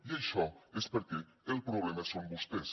i això és perquè el problema són vostès